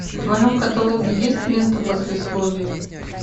в твоем каталоге есть лента послесловие